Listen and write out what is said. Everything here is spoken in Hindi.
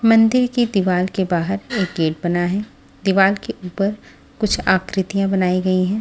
मंदिर की दीवाल के बाहर एक गेट बना है दीवाल के ऊपर कुछ आकृतियां बनाई गई हैं।